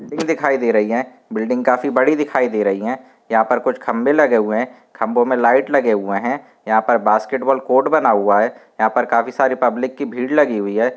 Building दिखाई दे रही बिल्डिंग काफी बड़ी दिखाई दे रही है यहाँ ओपे कुछ खंबे लगे हुए है खंबे मे लाइट लगे हुए है यहाँ बास्केटबाल कोट बना हुआ है यहाँ पे काफी सारी पब्लिक की भीड़ लगी हुई है ।